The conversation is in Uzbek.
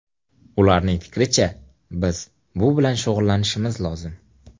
Ularning fikricha, biz bu bilan shug‘ullanishimiz lozim.